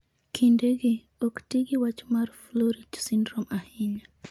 Kindegi, ok ti gi wach mar Froelich syndrome ahinya.